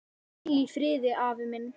Hvíl í friði afi minn.